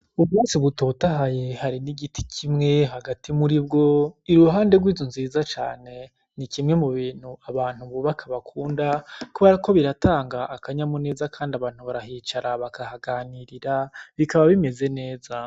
Ubwatsi butotahaye harimwo igiti kimwe hagati muribwo iruhande rwinzu nziza cane, Nikimwe m'ubintu abantu bubaka bakunda kuberako biratanga akanyamuneza kandi abantu barahicara bakahaganirira bikaba bimeze neza.